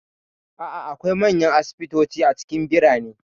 A'a, akwai manyan asibitoci a cikin birane.